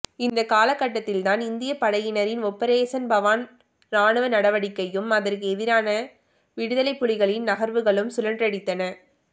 இந்தக்காலகட்டத்தில்தான் இந்தியப்படையினரின் ஒப்பரேசன் பவான் ராணுவ நடவடிக்கையும் அதற்கு எதிரான விடுதலைப்புலிகளின் நகர்வுகளும் சுழன்றடித்தன